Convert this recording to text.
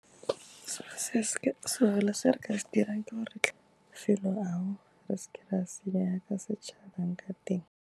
Sengwe le se re ka se dirang ke gore re tlhope mafelo ao, re seke ra senya ka setšhabeng ka teng.